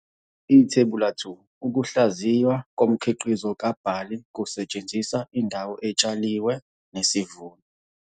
Ithebula 2. Ukuhlaziywa komkhiqizo kabhali kusetshenziswa indawo etshaliwe nesivuno.